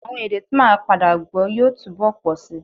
Àwọn èdè t́ màá padà gbọ́ yóò túbọ̀ pọ̀ síi